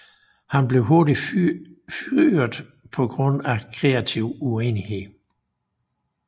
Han blev hurtigt fyrret på grund af kreativ uenighed